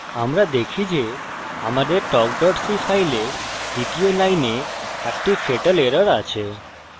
আমরা দেখি যে আমাদের talk c file দ্বিতীয় line একটি fatal error আছে